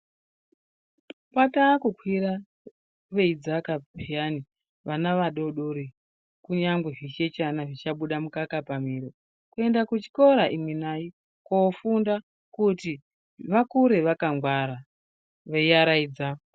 Kwataakukwira veidzaka peyani vana vadoodori kunyangwe zvichechana zvichabuda mukaka pamiro kuyenda kuchikora imwi nayi koofunda kuti vakure vakangwara veyiaraidza